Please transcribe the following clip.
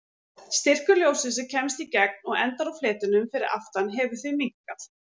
Styrkur ljóssins sem kemst í gegn og endar á fletinum fyrir aftan hefur því minnkað.